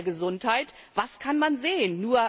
Schaden sie der Gesundheit? Was kann man sehen?